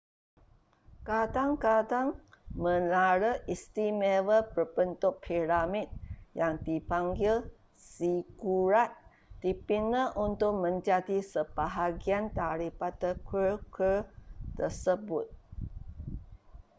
kadang-kadang menara istimewa berbentuk piramid yang dipanggil zigurat dibina untuk menjadi sebahagian daripada kuil-kuil tersebut